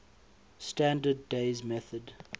standard days method